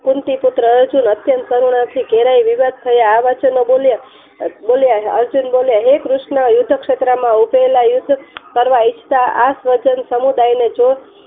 કુંતી પુત્ર અર્જુન અત્યંત કરુણાથી વિવાદ થયા આ વાતે બોલ્યા અર્જુન બોલ્યા હે ક્રિષ્ન યુદ્ધ ક્ષેત્ર માં યુદ્ધ કરવા ઇચ્છતા આ સજ્જન સમુદાયને જોવ